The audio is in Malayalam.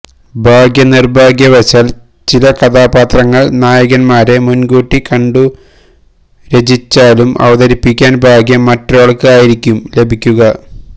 ഭാഗ്യനിര്ഭാഗ്യ വശാല് ചില കഥാപാത്രങ്ങള് നായകന്മാരെ മുന്കൂട്ടി കണ്ടു രചിച്ചാലും അവതരിപ്പിക്കാന് ഭാഗ്യം മറ്റൊരാള്ക്ക് ആയിരിക്കും ലഭിക്കുക